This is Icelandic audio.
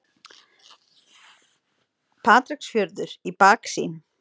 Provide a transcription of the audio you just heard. Patreksfjörður í baksýn.